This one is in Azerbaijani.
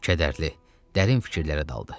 Kədərli, dərin fikirlərə daldı.